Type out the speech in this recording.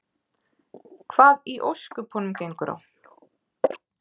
Hvað í ósköpunum gengur á?